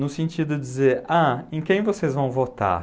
No sentido de dizer, ah, em quem vocês vão votar?